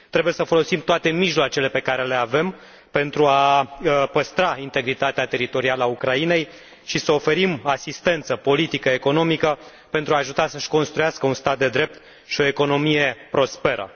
Trebuie să folosim toate mijloacele pe care le avem pentru a păstra integritatea teritorială a Ucrainei și să oferim asistență politică și economică pentru a o ajuta să își construiască un stat de drept și o economie prosperă.